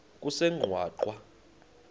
kusengwaqa